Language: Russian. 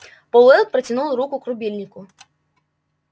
пауэлл протянул руку к рубильнику